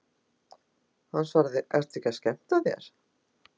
Hann svaraði, Ertu ekki að skemmta þér?